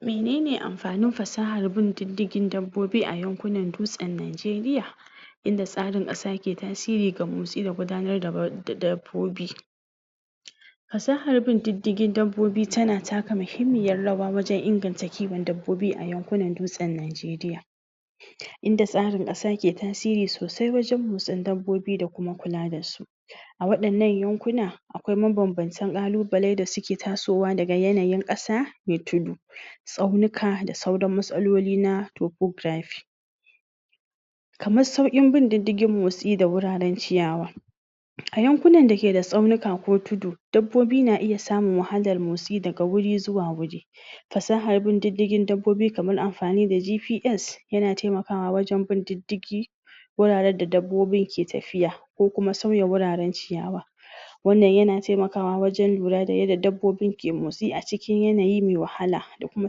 menene amfanin fasahar bin diddigin dabbobi a yankunan dutsen Nijeriya inda tsarin ƙasa ke tasiri ga mosti da gudanar da ba da dabbobi fasahar bin diddigin dabbobi tana taka mahimmiyar rawa wajen inganta kiwon dabbabi a yankunan dutsen Najeriya inda tsarin ƙasa ke tasiri sosai wajen motsin dabbobi da kuma kula dasu a waɗannan yankuna akwai mabanbantan ƙalubale da suke tasowa daga yanayin ƙasa me tudu tsaunuka da sauran matsaloli na topografi kaman sauƙin bin diddigin motsi da wuraren ciyawa a yankunan da ke da tsaunuka ko tudu dabbobi na iya samun wahalar motsi daga wuri zuwa wuri fasahar bin diddigin dabbobi kaman amfani da gps yana taimakawa wajen bin diddigi wuraren da dabbobin ke tafiya ko kuma sauya wuraren ciyawa wannan yana taimakawa wajen lura da yadda dabbobin ke motsi a cikin yanayi me wahala da kuma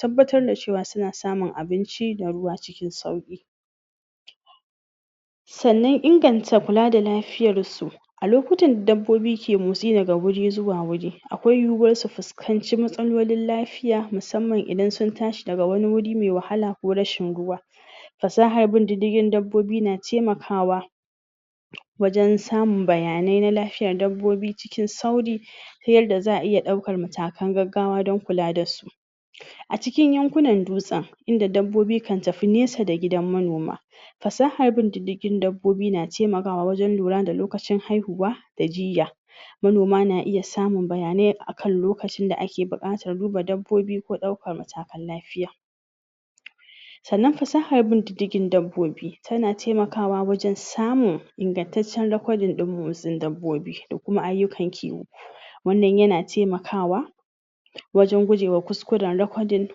tabbatar da cewa suna samun abinci da ruwa cikin sauƙi sannan inganta kula da lafiyarsu a lokutan da dabbobi ke motsi daga wuri zuwa wuri akwai yiwuwar su fuskanci matsalolin lafiya musamman idan sun tashi daga wani wuri me wahala ko rashin ruwa fasahar bin diddigin dabbobi na taimakawa wajen samun bayanai na lafiyar dabbobi cikin sauri ta yarda za'a iya ɗaukar matakan gaggawa don kula dasu a cikin yankunan dutsen inda dabbobi kan tafi nesa da gidan manoma fasahar bin diddigin dabbobi na taimakawa wajen lura da lokacin haihuwa da jiyya manoma na iya samun bayanai a kan lokacin da ake buƙatar duba dabbobi ko ɗaukar matakan lafiya sannan fasahar bin diddigin dabbobi tana taimakawa wajen samun ingantaccen rakwadin ɗin motsin dabbobi da kuma ayyukan kiwo wannan yana taimakawa wajen gujewa kuskuren rakwadin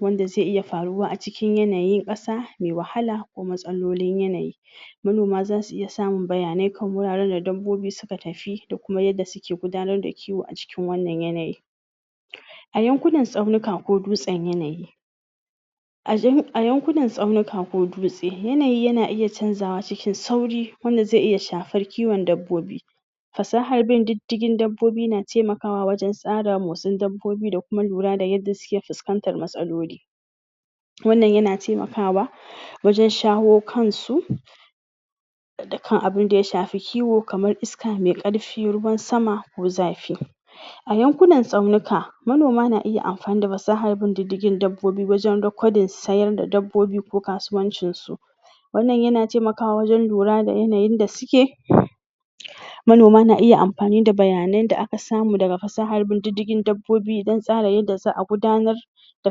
wanda zai iya faruwa a cikin yanayin ƙasa mai wahala ko matsalolin yanayi manoma zasu iya samun bayanai kan wuraren da dabbobi suka tafi da kuma yadda suke gudanar da kiwo a cikin wannan yanayi a yankunan tsaunuka ko dutsen yanayi a jan a yankunan tsaunuka ko dutse yanayi na iya canzawa cikin sauri wanda ze iya shafar kiwon dabbobi fasahar bin diddigin dabbobi na taimakawa wajen tsara motsin dabbobi da kuma lura da yadda suke fuskantar matsaloli wannan yana taimakawa wajen shawo kansu da dukkan abunda ya shafi kiwo kamar iska mai ƙarfi ruwan sama ko zafi a yankunan tsaunuka manoma na iya amfani da fasahan bin diddigin dabbobi wajen rakwadin sayar da dabbobi ko kasuwancin su wannan yana taimakawa wajen lura da yanayin da suke manoma na iya ampani da bayanan da aka samu daga fasahar bin diddigin dabbobi don tsara yadda za'a gudanar da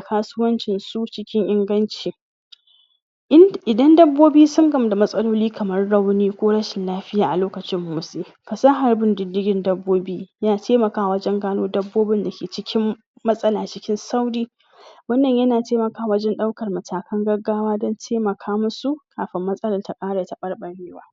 kasuwancin su cikin inganci ind idan dabbobi sun gamu da matsaloli kamar rauni ko rashin lafiya a lokacin motsi fasahar bin diddigin dabbobi yana taimakawa wajen gano dabbobin dake cikin matsala cikin sauri wannan yana taimakawa wajen ɗaukar matakan gaggawa don taimaka musu kapin matsalar ta ƙara taɓarɓarewa